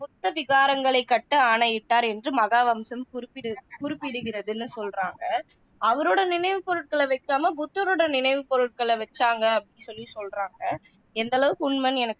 புத்த விகாரங்களைக் கட்ட ஆணையிட்டார் என்று மகாவம்சம் குறிப்பிடு குறிப்பிடுகிறதுன்னு சொல்றாங்க அவரோட நினைவுப்பொருட்களை வைக்காம புத்தரோட நினைவு பொருட்களை வச்சாசாங்க அப்படின்னு சொல்லி சொல்றாங்க எந்த அளவுக்கு உண்மைன்னு எனக்கு